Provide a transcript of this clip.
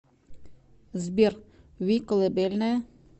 сбер ви колыбельная